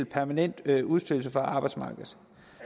permanent udstødelse af arbejdsmarkedet